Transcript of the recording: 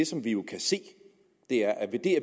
som vi jo kan se er at vi